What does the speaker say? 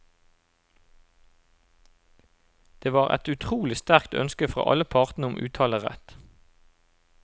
Det var et utrolig sterkt ønske fra alle parter om uttalerett.